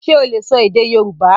Ṣe o le sọ èdè Yorùbá?